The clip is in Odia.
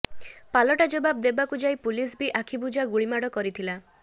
ପାଲଟା ଜବାବ ଦେବାକୁ ଯାଇ ପୁଲିସ ବି ଆଖିବୁଜା ଗୁଳିମାଡ଼ କରିଥିଲା